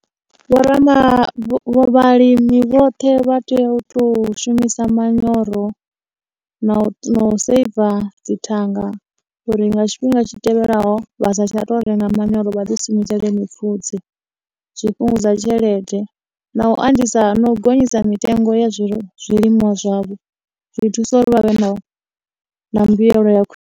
Vho rama, vhalimi vhoṱhe vha tea u tou shumisa manyoro, na u na u seiva dzithanga uri nga tshifhinga tshi tevhelaho vha sa tsha tou renga manyoro vha ḓi shumisele mipfhudze zwi fhungudza tshelede, na u andisa, no gonyisa mitengo ya zwi zwilimwa zwavho zwi thusa uri vha vhe na, na mbuyelo ya khwi.